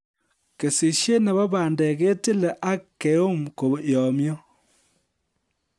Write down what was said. Kesishet nebo bandek ketile ak keum koyomyo